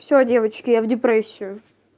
все девочки я в депрессию